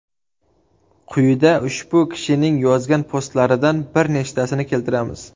Quyida ushbu kishining yozgan postlaridan bir nechtasini keltiramiz.